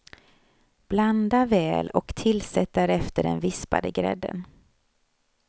Blanda väl och tillsätt därefter den vispade grädden.